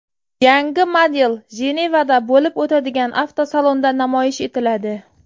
Yangi model Jenevada bo‘lib o‘tadigan avtosalonda namoyish etiladi.